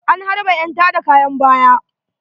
An harɓe ƴan tada kayan baya.